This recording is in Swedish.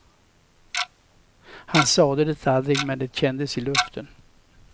Han sade det aldrig men det kändes i luften.